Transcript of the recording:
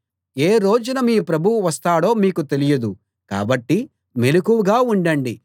ఏ రోజున మీ ప్రభువు వస్తాడో మీకు తెలియదు కాబట్టి మెలకువగా ఉండండి